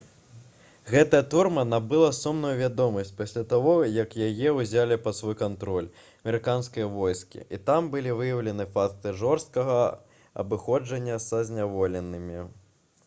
гэтая турма набыла сумную вядомасць пасля таго як яе ўзялі пад свой кантроль амерыканскія войскі і там былі выяўлены факты жорсткага абыходжання са зняволенымі